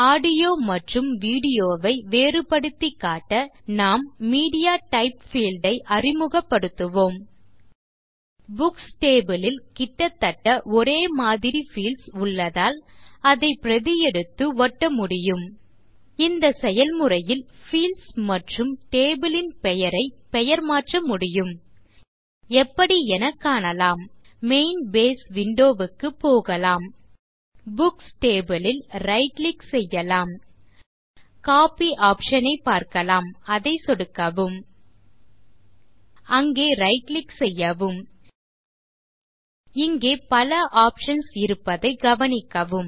audio மற்றும் video ஐ வேறுபடுத்தி காட்ட நாம் மீடியாடைப் பீல்ட் ஐ அறிமுகப்படுத்துவோம் புக்ஸ் டேபிள் ல் கிட்டதட்ட ஒரேமாதிரி பீல்ட்ஸ் உள்ளதால் அதை பிரதி எடுத்து ஒட்ட முடியும் இந்த செயல்முறையில் பீல்ட்ஸ் மற்றும் டேபிள் ன் பெயரை பெயர்மாற்ற முடியும் எப்படி என காணலாம் மெயின் பேஸ் விண்டோ க்கு போகலாம் புக்ஸ் டேபிள் ல் ரைட் கிளிக் செய்யலாம் கோப்பி ஆப்ஷன் ஐ பார்க்கலாம் அதை சொடுக்கவும் அங்கே ரைட் கிளிக் செய்யவும் இங்கே பல ஆப்ஷன்ஸ் இருப்பதை கவனிக்கவும்